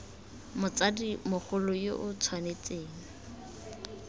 motsadi mogolo yo o tshwanetseng